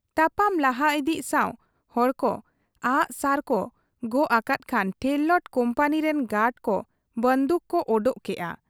ᱛᱟᱯᱟᱢ ᱞᱟᱦᱟ ᱤᱫᱤᱜ ᱥᱟᱶ ᱦᱚᱲᱠᱚ ᱟᱜ ᱥᱟᱨᱠᱚ ᱚᱠᱚᱠ ᱟᱠᱟᱫ ᱠᱷᱟᱱ ᱴᱷᱮᱨᱞᱟᱴ ᱠᱩᱢᱯᱟᱱᱤ ᱨᱤᱱ ᱜᱟᱰᱠᱚ ᱵᱟᱺᱫᱩᱠ ᱠᱚ ᱚᱰᱚᱠ ᱠᱮᱜ ᱟ ᱾